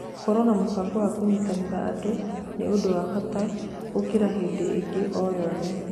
Gũkorwo na mũbango wa kũnyitĩrĩra andũ nĩ ũndũ wa bata gũkira hĩndĩ ĩngĩ o yothe.